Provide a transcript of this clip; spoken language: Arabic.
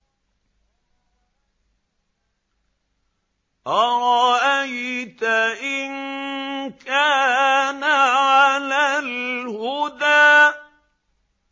أَرَأَيْتَ إِن كَانَ عَلَى الْهُدَىٰ